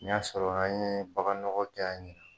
N y'a sɔrɔla n ye bagan nɔgɔ ja n ye.